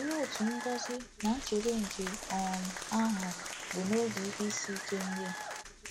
Òlee otu ngọzi na nchebe nke um ahụ bụ n’oge ihe isi ike ndị a!